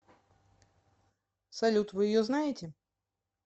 салют вы ее знаете